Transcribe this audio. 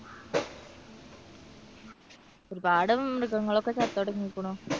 ഒരുപാട് മൃഗങ്ങളൊക്കെ ചത്തൊടുങ്ങിയിരിക്കണു.